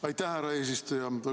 Aitäh, härra eesistuja!